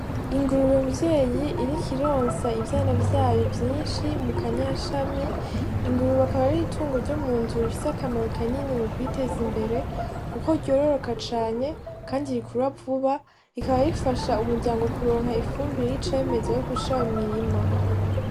Ingurube mvyeyi iriko ironsa ivyana vyayo vyinshi mu kanyashami. Ingurube akaba ari itungo ryo mu nzu rifise akamaro kanini mu kwiteza imbere kuko ryororoka cane kandi rikura vuba, rikaba rifasha umuryango kuronka ifumbire y'icemeza yo gushira mu mirima.